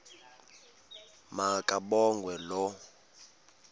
ma kabongwe low